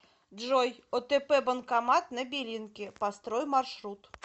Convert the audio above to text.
джой отп банкомат на белинке построй маршрут